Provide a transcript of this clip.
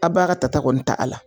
A b'a ka ta ta kɔni t'a la.